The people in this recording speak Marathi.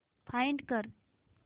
फाइंड कर